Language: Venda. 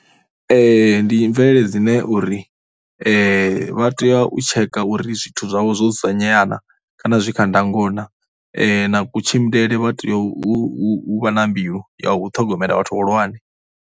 Ndi mvelele dzine uri vha tea u tsheka uri zwithu zwavho zwo dzudzanyea na kana zwi kha ndango na, na kutshimbilele vha tea u u u vha na mbilu ya u ṱhogomela vhathu vhahulwane.